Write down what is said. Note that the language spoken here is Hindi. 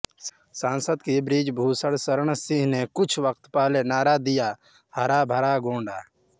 सांसद श्री बृजभूषण शरण सिंह ने कुछ वक़्त पहले नारा दिया हरा भरा गोंडा